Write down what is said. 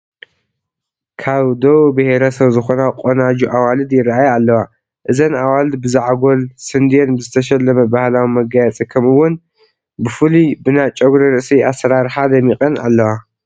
ካብ ደቡብ ብሄረሰብ ዝኾና ቆናጁ ኣዋልድ ይርአያ ኣለዋ፡፡ እዘን ኣዋልድ ብዘዓጐል ስንዴን ብዝተሸለመ ባህላዊ መጋየፂ ከምኡውን ብፍሉይ ብና ጨጉሪ ርእሲ ኣሰራርሓ ደሚቐን ኣለዋ፡፡